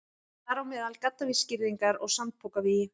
Þar á meðal gaddavírsgirðingar og sandpokavígi.